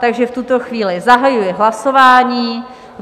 Takže v tuto chvíli zahajuji hlasování.